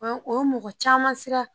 Ɔ o ye mɔgɔ caman siran